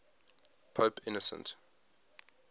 pope innocent